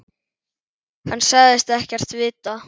Hann sagðist ekkert vita.